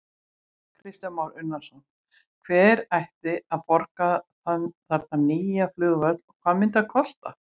Kristján Már Unnarsson: Hver ætti að borga þarna nýja flugvöll og hvað myndi hann kosta?